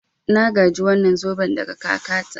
Na gaji wannan zoben daga kakata.